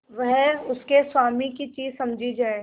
वह उसके स्वामी की चीज समझी जाए